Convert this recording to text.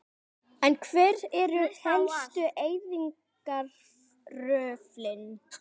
En hver eru helstu eyðingaröflin?